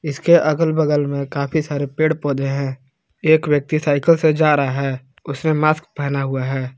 इसके अगल बगल में काफी सारे पेड़ पौधे हैं एक व्यक्ति साईकल से जा रहा है उसने मास्क पहना हुआ है।